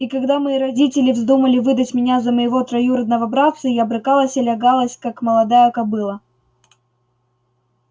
и когда мои родители вздумали выдать меня за моего троюродного братца я брыкалась и лягалась как молодая кобыла